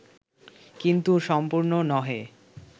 কিন্তু সম্পূর্ণ নহে